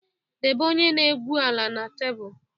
Debe onye na-egwu ala na tebụl!